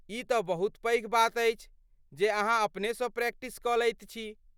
ई तँ बहुत पैघ बात अछि जे अहाँ अपनेसँ प्रैक्टिस कऽ लैत छी।